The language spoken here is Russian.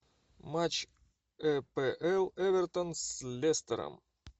матч апл эвертон с лестером